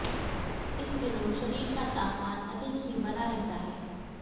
इस दिनों शरीर का तापमान अधिक ही बना रहता है